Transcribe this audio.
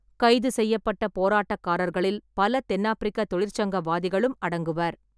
கைது செய்யப்பட்ட போராட்டக்காரர்களில் பல தென்னாப்பிரிக்க தொழிற்சங்கவாதிகளும் அடங்குவர்.